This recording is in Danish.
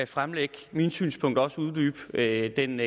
fremlægge mine synspunkter og også uddybe den